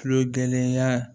Tulogɛlɛnya